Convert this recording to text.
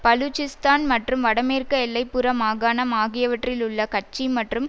பலூச்சிஸ்தான் மற்றும் வடமேற்கு எல்லை புற மாகாணம் ஆகியவற்றிலுள்ள கட்சி மற்றும்